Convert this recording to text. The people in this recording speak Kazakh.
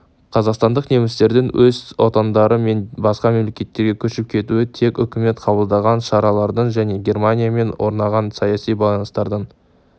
қазақстандық немістердің өз отандары мен басқа мемлекеттерге көшіп кетуі тек үкімет қабылдаған шаралардың және германиямен орнаған саяси байланыстардың